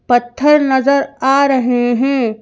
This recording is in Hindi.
पत्थर नजर आ रहे हैं।